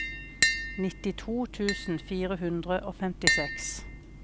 nittito tusen fire hundre og femtiseks